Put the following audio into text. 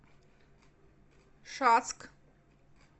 шацк